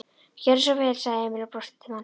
Gjörðu svo vel, sagði Emil og brosti til mannsins.